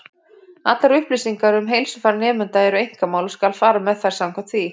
Allar upplýsingar um heilsufar nemenda eru einkamál, og skal fara með þær samkvæmt því.